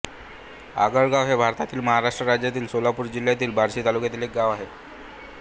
आगळगाव हे भारतातील महाराष्ट्र राज्यातील सोलापूर जिल्ह्यातील बार्शी तालुक्यातील एक गाव आहे